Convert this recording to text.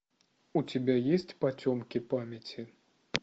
у тебя есть потемки памяти